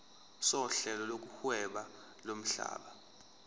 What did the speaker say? sohlelo lokuhweba lomhlaba